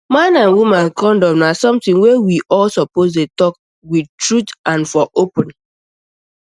man and woman condom na something wey we all suppose dey talk um with truth and for open